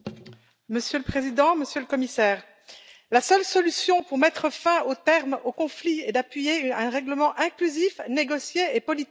Monsieur le Président, Monsieur le Commissaire, la seule solution pour mettre un terme au conflit est d'appuyer un règlement inclusif négocié et politique.